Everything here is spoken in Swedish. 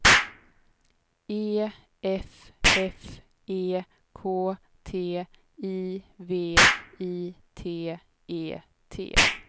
E F F E K T I V I T E T